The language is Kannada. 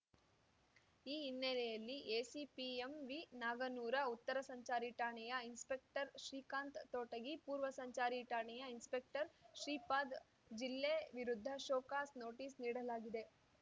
ಈ ಹಿನ್ನೆಲೆಯಲ್ಲಿ ಎಸಿಪಿ ಎಂವಿ ನಾಗನೂರ ಉತ್ತರ ಸಂಚಾರಿ ಠಾಣೆಯ ಇನ್‌ಸ್ಪೆಪೆಕ್ಟರ್‌ ಶ್ರೀಕಾಂತ್ ತೋಟಗಿ ಪೂರ್ವ ಸಂಚಾರಿ ಠಾಣೆಯ ಇನ್‌ಸ್ಪೆಪೆಕ್ಟರ್‌ ಶ್ರೀಪಾದ ಜಿಲ್ಲೆ ವಿರುದ್ಧ ಶೋಕಾಸ್‌ ನೋಟಿಸ್‌ ನೀಡಲಾಗಿದೆ